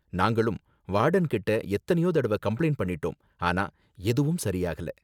நாங்களும் வார்டன் கிட்ட எத்தனையோ தடவ கம்ப்ளைண்ட் பண்ணிட்டோம், ஆனா எதுவும் சரி ஆகல